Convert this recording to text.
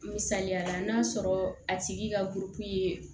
Misaliyala n'a sɔrɔ a tigi ka ye